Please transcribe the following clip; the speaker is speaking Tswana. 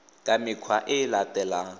ka mekgwa e e latelang